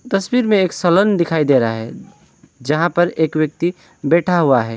तस्वीर में एक सलन दिखाई दे रहा है जहां पर एक व्यक्ति बैठा है।